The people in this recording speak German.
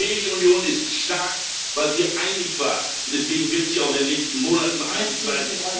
Die Europäische Union ist stark, weil sie einig war, und deswegen wird sie auch in den nächsten Monaten einig sein.